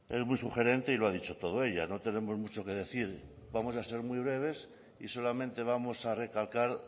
es muy sugerente y lo ha dicho todo ella no tenemos mucho que decir vamos a ser muy breves y solamente vamos a recalcar